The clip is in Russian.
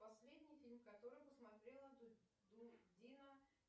последний фильм который посмотрела дина